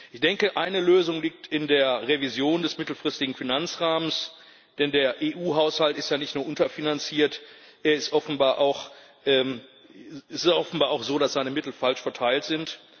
Ich denke, eine Lösung liegt in der Revision des mittelfristigen Finanzrahmens, denn der EU Haushalt ist nicht nur unterfinanziert, es ist offenbar auch so, dass seine Mittel falsch verteilt sind.